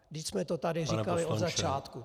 Vždyť jsme to tady říkali od začátku.